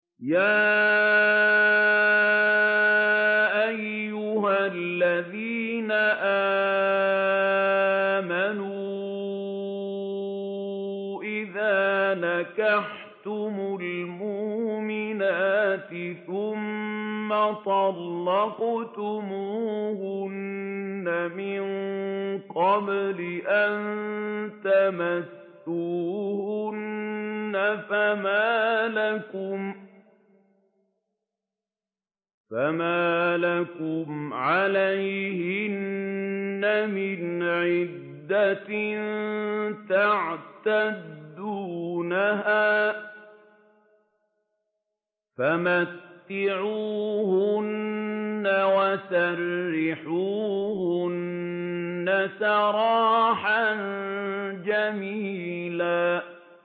يَا أَيُّهَا الَّذِينَ آمَنُوا إِذَا نَكَحْتُمُ الْمُؤْمِنَاتِ ثُمَّ طَلَّقْتُمُوهُنَّ مِن قَبْلِ أَن تَمَسُّوهُنَّ فَمَا لَكُمْ عَلَيْهِنَّ مِنْ عِدَّةٍ تَعْتَدُّونَهَا ۖ فَمَتِّعُوهُنَّ وَسَرِّحُوهُنَّ سَرَاحًا جَمِيلًا